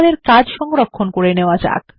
আমাদের কাজ সংরক্ষণ করে নেওয়া যাক